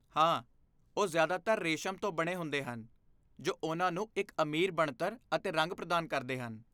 ਹਾਂ, ਉਹ ਜਿਆਦਾਤਰ ਰੇਸ਼ਮ ਤੋਂ ਬਣੇ ਹੁੰਦੇ ਹਨ ਜੋ ਉਹਨਾਂ ਨੂੰ ਇੱਕ ਅਮੀਰ ਬਣਤਰ ਅਤੇ ਰੰਗ ਪ੍ਰਦਾਨ ਕਰਦੇ ਹਨ।